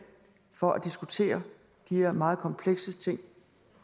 for at diskutere de her meget komplekse ting